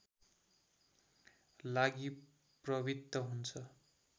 लागि प्रवृत्त हुन्छ